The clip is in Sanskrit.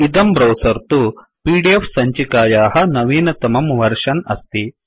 इदं ब्रौसर् तु पीडीएफ सञ्चिकायाः नवीनतमं वर्शन् अस्ति